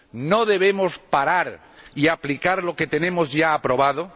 ¿No debemos parar y aplicar lo que ya está aprobado?